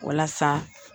Walasa